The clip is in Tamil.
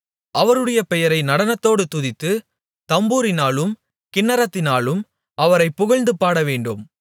அவருடைய பெயரை நடனத்தோடு துதித்து தம்புரினாலும் கின்னரத்தினாலும் அவரை புகழ்ந்துபாட வேண்டும்